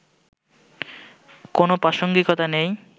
কোনো প্রাসঙ্গিকতা নেই